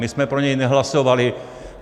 My jsme pro něj nehlasovali.